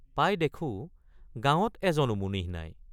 পাই দেখোঁ গাঁৱত এজনো মুনিহ নাই।